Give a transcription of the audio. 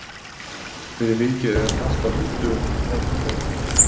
Fyrir vikið er margt á huldu um hina fornu borg.